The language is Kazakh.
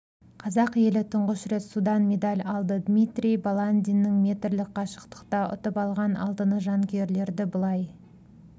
қазақ елі тұңғыш рет судан медаль алды дмитрий баландиннің метрлік қашықтықта ұтып алған алтыны жанкүйерлерді былай